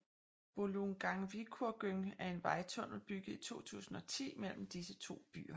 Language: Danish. Bolungarvíkurgöng er en vejtunnel bygget i 2010 mellem disse to byer